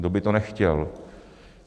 Kdo by to nechtěl?